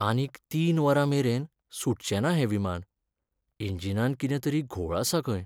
आनीक तीन वरां मेरेन सुटचेंना हें विमान. इंजिनांत कितें तरी घोळ आसा खंय.